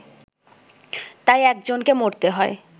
তাই একজনকে মরতে হয়